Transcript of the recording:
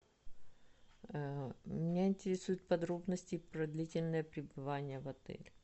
меня интересуют подробности про длительное пребывание в отеле